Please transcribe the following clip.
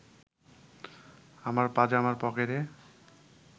আমার পাজামার পকেটে